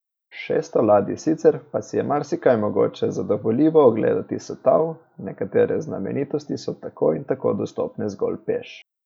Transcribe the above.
Šeststo ladij Sicer pa si je marsikaj mogoče zadovoljivo ogledati s tal, nekatere znamenitosti so tako in tako dostopne zgolj peš.